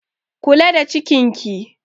Kula da cikin ki!